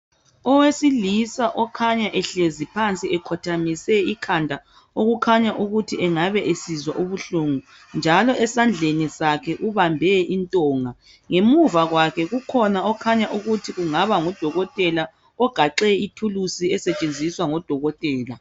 Owesilisa okhanya ehlezi phansi ekhothamise ikhanda okukhanya ukuthi engabe esizwa ubuhlungu njalo esandleni sakhe ubambe intonga ngemuva kwakhe kukhona okhanya ukuthi kungaba ngudokotela ogaxe ithulusi esetshenziswa ngodokotela.